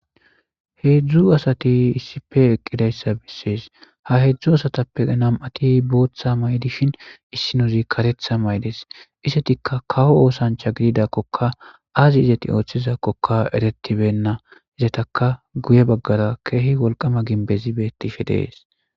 heedzdzu asati issife eqqidayssa bissees ha heedzdzu asatappe nam7ati booththa may7dishin issinuuzi katetha maydes isetikka kawo oosancha gididakkoka azi izeti ooththizakkoka eretibenna izetaka guye baggara keehi wolqama ginbezibetifi dees